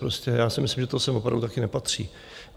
Prostě já si myslím, že to sem opravdu také nepatří.